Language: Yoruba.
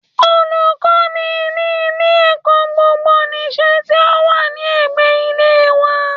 Olùkọ́ ni ní ilé ẹ̀kọ́ gbogbo nìse tí ó wà ní ẹ̀gbẹ́ ilé wa